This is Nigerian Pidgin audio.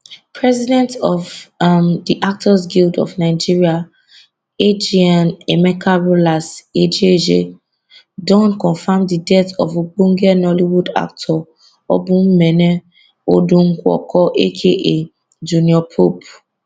president of um di actors guild of nigeria agn emeka rollas ejezie don confam di death of ogbonge nollywood actor obumneme odonwodo aka junior pope